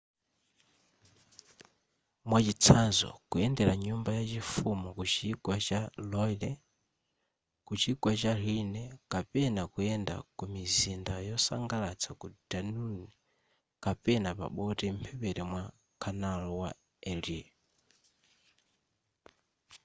mwachitsanzo kuyendera nyumba ya chifumu kuchigwa cha loire kuchigwa cha rhine kapena kuyenda kumizinda yosangalatsa ku danune kapena pa boti mphepete mwa canal wa erie